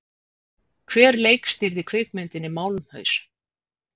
Hver leikstýrði kvikmyndinni Málmhaus?